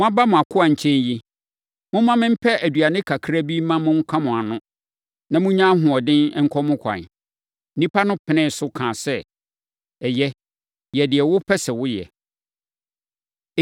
Moaba mo akoa nkyɛn yi, momma mempɛ aduane kakra bi mma monka mo ano, na monnya ahoɔden nkɔ mo kwan.” Nnipa no penee so kaa sɛ, “Ɛyɛ, yɛ deɛ wopɛ sɛ woyɛ.”